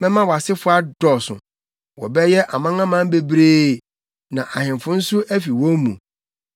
Mɛma wʼasefo adɔɔso. Wɔbɛyɛ amanaman bebree na ahemfo nso afi wɔn mu.